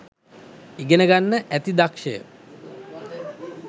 ඉගෙන ගන්න ඇති දක්ෂය